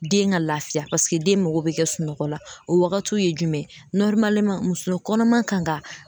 Den ga lafiya paseke den mago be kɛ sunɔgɔ la o wagatiw ye jumɛn ye nɔrimaleman muso kɔnɔman kan ka